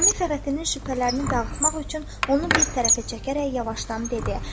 Nizami Fəxrəddinin şübhələrini dağıtmaq üçün onu bir tərəfə çəkərək yavaşdan dedi: